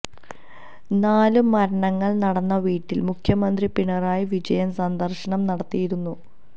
നാല് മരണങ്ങൾ നടന്ന വീട്ടിൽ മുഖ്യമന്ത്രി പിണറായി വിജയൻ സന്ദർശനം നടത്തിയിരുന്നു